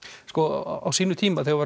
á sínum tíma þegar